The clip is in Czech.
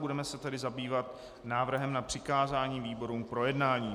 Budeme se tedy zabývat návrhem na přikázání výborům k projednání.